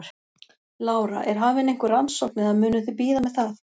Lára: Er hafin einhver rannsókn eða munuð þið bíða með það?